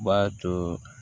B'a to